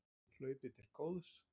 Hlaupið til góðs